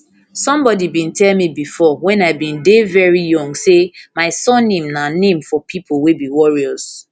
sombodi bin tell me bifor wen i bin dey veri young say my surname na name for pipo wey be warriors